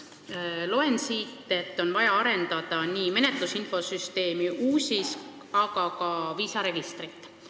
Loen siit, et on vaja arendada nii menetlusinfosüsteemi UUSIS kui ka viisaregistrit.